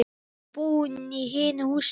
Ertu búinn í hinu húsinu?